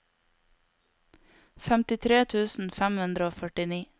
femtitre tusen fem hundre og førtini